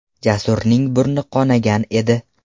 Jasurning burni qonagan edi.